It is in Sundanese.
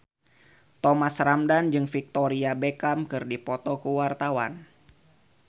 Thomas Ramdhan jeung Victoria Beckham keur dipoto ku wartawan